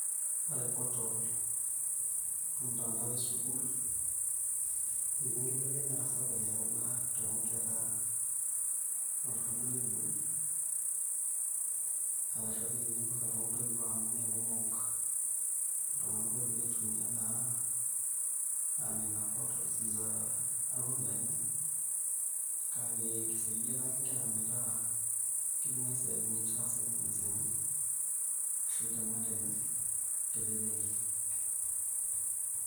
Ore eportal ormutandao esukuul nemeenkibelekenyata sapuk eyauwua toonkera ashu torrmwalimuni arashu akeninye mpaka toontoiwuo amu mmee kumok iltunganak oyiolo aitumia naa nena portals za online kake kisaidia naake nkera meetaa kidim aisubmita assignments enye ashu ntemat enye teleleki .